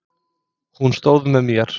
Hún stóð með mér.